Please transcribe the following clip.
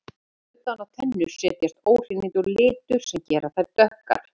Utan á tennur setjast óhreinindi og litur sem gera þær dökkar.